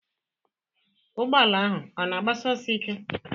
Ụgbọala ahụ ọ na agbasi ọsọ ike?